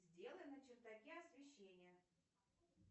сделай на чердаке освещение